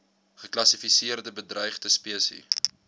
geklassifiseerde bedreigde spesies